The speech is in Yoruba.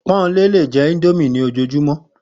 Pó̩nmilé lè je̩ íńdómì ní òjoojúmó